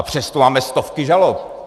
A přesto máme stovky žalob.